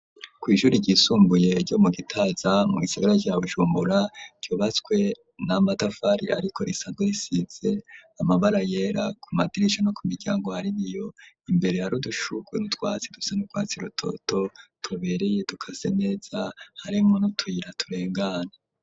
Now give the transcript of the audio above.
Kw' ishuri ryisumbuye ryo mu gitaza ,mu gisigara ca Bujumbura, ryubatswe na matafari ariko risanze risize amabara yera, ku madirisa no ku miryango, hari Ibiyo ,imbere harudushurwe n'utwatsi dusa n'utwatsi rutoto, tubereye dukase neza ,harimwo n'utuyira turengana.